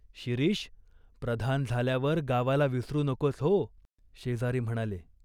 शिरीष, प्रधान झाल्यावर गावाला विसरू नकोस हो !" शेजारी म्हणाले.